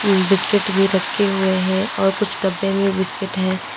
Biscuit भी रखे हुए हैं और कुछ डब्बे में बिस्किट हैं।